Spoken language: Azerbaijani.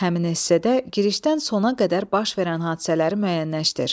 Həmin esdə girişdən sona qədər baş verən hadisələri müəyyənləşdir.